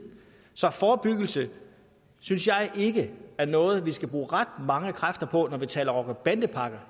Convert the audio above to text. så forebyggelse synes jeg ikke er noget vi skal bruge ret mange kræfter på når vi taler rocker bande pakker